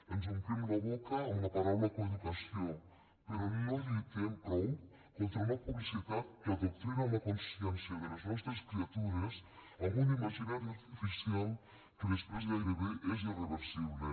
ens omplim la boca amb la paraula coeducació però no lluitem prou contra una publicitat que adoctrina la consciència de les nostres criatures amb un imaginari artificial que després gairebé és irreversible